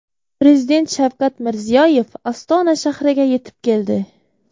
Prezident Shavkat Mirziyoyev Ostona shahriga yetib keldi .